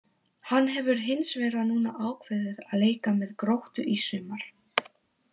Hann hefur hins vegar núna ákveðið að leika með Gróttu í sumar.